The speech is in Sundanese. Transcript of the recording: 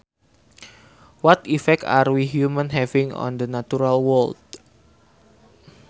What effect are we humans having on the natural world